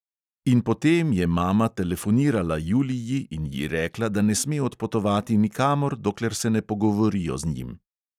In potem je mama telefonirala juliji in ji rekla, da ne sme odpotovati nikamor, dokler se ne pogovorijo z njim.